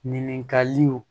Ɲininkaliw